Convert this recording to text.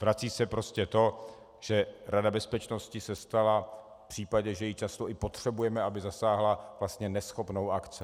Vrací se prostě to, že Rada bezpečnosti se stala v případě, že ji často i potřebujeme, aby zasáhla, vlastně neschopnou akce.